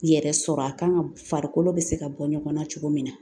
Yɛrɛ sɔrɔ a kan ka farikolo bɛ se ka bɔ ɲɔgɔn na cogo min na